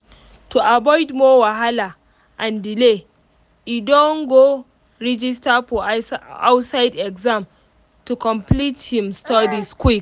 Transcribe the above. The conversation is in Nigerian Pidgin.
to avoid more wahala and delay e don go register for outside exam to complete him studies quick.